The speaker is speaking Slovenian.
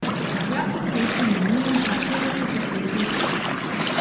Jaz to cesto imenujem kar petdeset odtenkov sive.